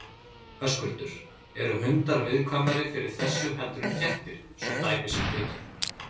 Höskuldur: Eru hundar viðkvæmari fyrir þessu heldur en kettir svo dæmi sé tekið?